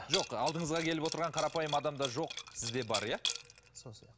жоқ алдыңызға келіп отырған қарапайым адамда жоқ сізде бар иә сол сияқты